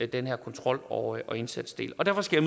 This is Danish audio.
den her kontrol og indsatsdel derfor skal